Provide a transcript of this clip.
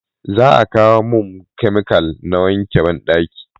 za a kawo mun kamikal da wanke banɗaki